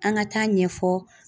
An ka taa ɲɛfɔ